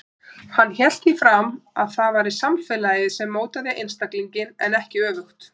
Hann hélt því fram að það væri samfélagið sem mótaði einstaklinginn en ekki öfugt.